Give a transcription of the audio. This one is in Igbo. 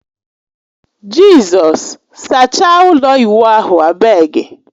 Jizọs! Sachaa ụlọ ịwụ ahụ abegi.